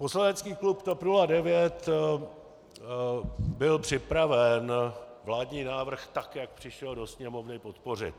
Poslanecký klub TOP 09 byl připraven vládní návrh, tak jak přišel do Sněmovny podpořit.